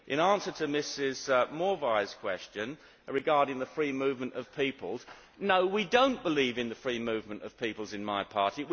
In answer to Ms Morvai's question regarding the free movement of people no, we do not believe in the free movement of peoples in my party.